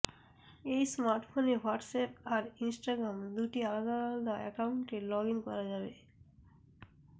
এই স্মার্টফোনে হোয়াটসঅ্যাপ আর ইনস্টাগ্রাম দুটি আলাদা আলাদা অ্যাকাউন্টে লগইন করা যাবে